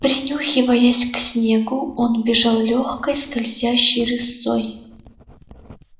принюхиваясь к снегу он бежал лёгкой скользящей рысцой